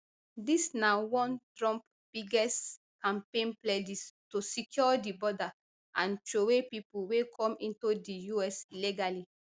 dis na one of trump biggest campaign pledges to secure di border and throway pipo wey come into di us illegally